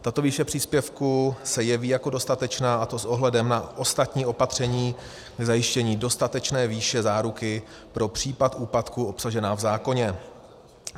Tato výše příspěvku se jeví jako dostatečná, a to s ohledem na ostatní opatření k zajištění dostatečné výše záruky pro případ úpadku obsažená v zákoně.